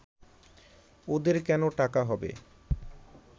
ওদের কেন টাকা হবে